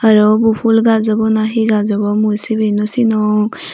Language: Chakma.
aro ubo ful gaj obw na hi gaj obw mui sibey nw sinong.